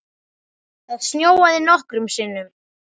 Það snjóaði nokkrum sinnum.